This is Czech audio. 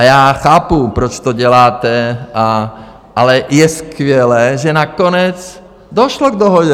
A já chápu, proč to děláte, ale je skvělé, že nakonec došlo k dohodě.